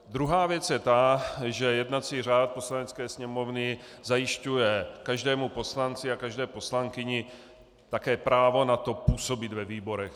Druhá věc je ta, že jednací řád Poslanecké sněmovny zajišťuje každému poslanci a každé poslankyni také právo na to působit ve výborech.